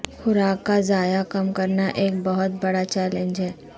خوراک کا ضیاع کم کرنا ایک بہت بڑا چیلنج ہے